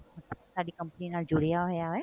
ਸਾਡੀ company ਨਾਲ ਜੁੜਿਆ ਹੋਇਆ ਹੈ